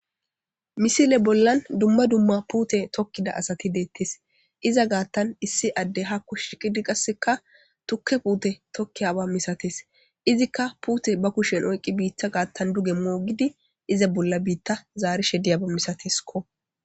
misile bollan dumma dumma puute tokkida asati deettis iza gaattan issi adde hakku shiqidi qasseka tukke puute tokki aba misates izikka puute ba kushen oyqqi biitta gaattan duge moogidi iza bolla biitta zaari she diyaba misatiskko